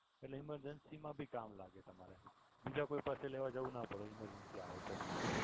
એટલે emergency મા ભી કામ લાગે તમારે બીજા કોઈ પાસે લેવા જવું ના પડે. ઇમરજન્સી આવે છે એમ.